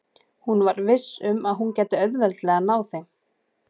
Hún var viss um að hún gæti auðveldlega náð þeim.